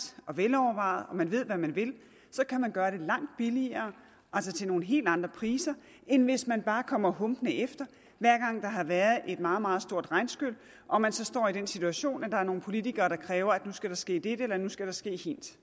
og velovervejet og man ved hvad man vil så kan man gøre det langt billigere altså til nogle helt andre priser end hvis man bare kommer humpende efter hver gang der har været et meget meget stort regnskyl og man så står i den situation at der er nogle politikere der kræver at nu skal der ske dette eller nu skal der ske hint